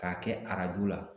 K'a kɛ arajo la